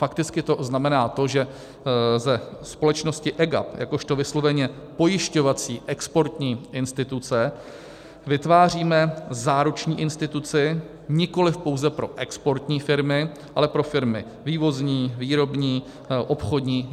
Fakticky to znamená to, že ze společnosti EGAP jakožto vysloveně pojišťovací exportní instituce vytváříme záruční instituci nikoliv pouze pro exportní firmy, ale pro firmy vývozní, výrobní, obchodní.